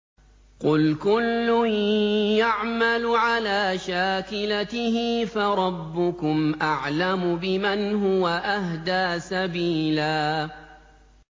قُلْ كُلٌّ يَعْمَلُ عَلَىٰ شَاكِلَتِهِ فَرَبُّكُمْ أَعْلَمُ بِمَنْ هُوَ أَهْدَىٰ سَبِيلًا